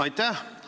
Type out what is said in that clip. Aitäh!